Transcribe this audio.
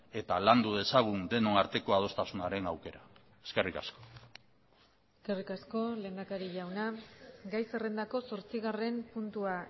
eta landu dezagun denon arteko adostasunaren aukera eskerrik asko eskerrik asko lehendakari jauna gai zerrendako zortzigarren puntua